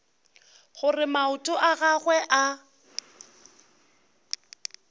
gore maoto a gagwe a